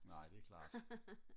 nej det er klart